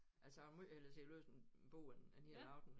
Altså jeg vil måj hellere sidde og læse en en bog en en hel aften